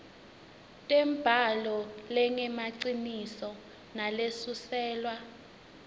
tembhalo lengemaciniso nalesuselwa